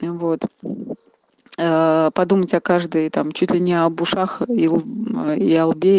вот ээ подумать о каждой там чуть ли не об ушах и о лбе